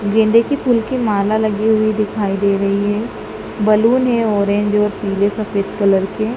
गेंदे की फूल की माला लगी हुई दिखाई दे रही है। बलून है ऑरेंज और पीले सफेद कलर के।